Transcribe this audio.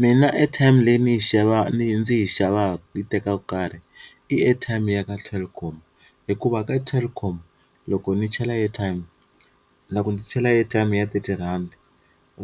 Mina airtime leyi ni yi xava ni ndzi yi xavaka yi tekaku nkarhi i airtime ya ka Telkom hikuva ka Telkom loko ni chela airtime na ku ndzi chela airtime ya thirty rhandi,